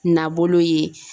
Nabolo ye.